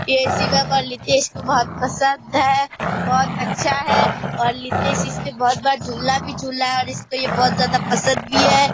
यह शिवम और लितेश को बहुत पसंद है बहुत अच्छा है और लितेश ने इसपे बहुत बार झुला भी झुला है और इसको ये बहुत ज्यादा पसंद भी है ।